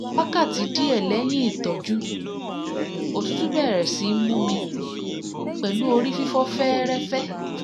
wákàtí díẹ̀ lẹ́yìn ìtọ́jú òtútù bẹ̀rẹ̀ sí mú mi pẹ̀lú orí fífọ́ fẹ́ẹ́rẹ́fẹ́